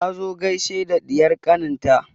Ta zo gaishe da ɗiyar ƙanin ta